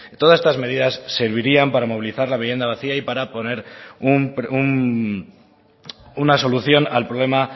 todas estas medidas servirían para movilizar la vivienda vacía y para poner una solución al problema